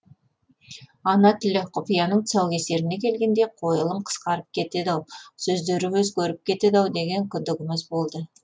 ана тілі құпияның тұсаукесеріне келгенде қойылым қысқарып кетеді ау сөздері өзгеріп кетеді ау деген күдігіміз болды